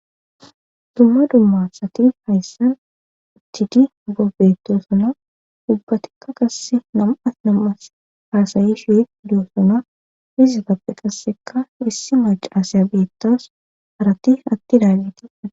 Dumma dumma satid hayssan uttidi bobetosuna dubbatikka qass nam'as nam'as haasayi shi duyo suna pizatappe qasseka hissi mace aasaya beettas harati atti daagete